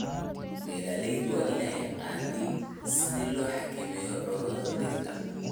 Beeraleydu waa inay yaqaaniin sida loo xakameeyo cudurrada dhirta.